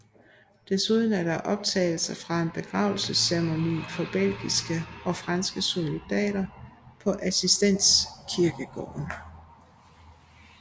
Desuden er der optagelser fra en begravelsesceremoni for belgiske og franske soldater på Assistens Kirkegård